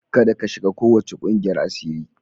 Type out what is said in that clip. Kada ka shiga kowace kungiyar asiri.